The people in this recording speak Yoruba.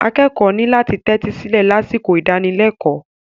Akẹ́kọ̀ọ́ ní láti tẹ́tí sílẹ̀ lásìkò ìdánilẹ́kọ̀ọ́.